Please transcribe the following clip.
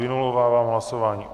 Vynulovávám hlasování.